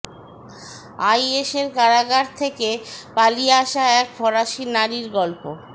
আইএসের কারাগার থেকে পালিয়ে আসা এক ফরাসি নারীর গল্প